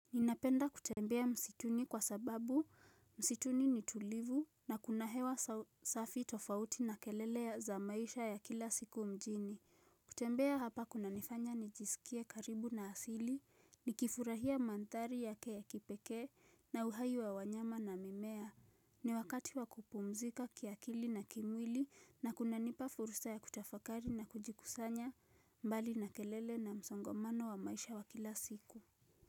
Ninapenda kutembea msituni kwa sababu msituni ni tulivu na kuna hewa safi tofauti na kelele za maisha ya kila siku mjini. Kutembea hapa kunanifanya nijisikie karibu na asili, nikifurahia mandhari yake ya kipekee na uhai wa wanyama na mimea. Ni wakati wa kupumzika kiakili na kimwili na kuna nipa furusa ya kutafakari na kujikusanya mbali na kelele na msongomano wa maisha wa kila siku.